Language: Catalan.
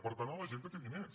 per tant la gent que té diners